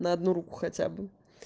на одну руку хотя бы